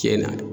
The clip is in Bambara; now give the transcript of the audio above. Tiɲɛ na